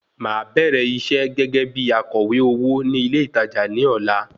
Màá bẹ̀rẹ̀ iṣẹ́ gẹ́gẹ́ bí akọ̀wé owó ní ilé ìtajà ní ọ̀la